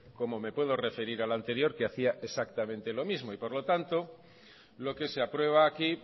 como me puedo referir al anterior que hacía exactamente lo mismo y por lo tanto lo que se aprueba aquí